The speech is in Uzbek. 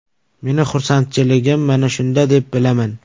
Meni xursandchiligim mana shunda deb bilaman.